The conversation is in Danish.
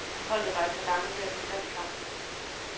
Holdet var et par gange ved at få fat i kampen.